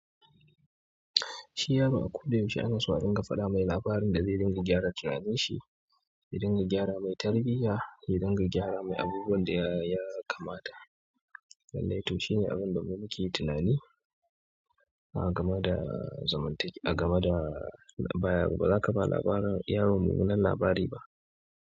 Shi yaro a ko da yaushe ana so dinga faɗa mai labarin da zai dinga gyara tunanin shi, ya dinga gyara mai tarbiyya, ya dinga gyara mai abubuwan da ya kamata. Lallai to shine abin da mu muke tunani. A gama da zamantak a gama da baya, ba za ka ba labarin yaron me wanan labari ba.